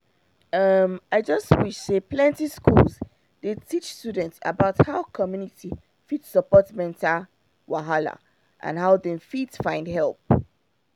um i just wish say plenty schools dey teach students about how community fit support mental wahala and how dem fit find help